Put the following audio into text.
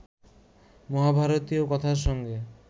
মহাভারতীয় কথার সঙ্গে